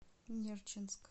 нерчинск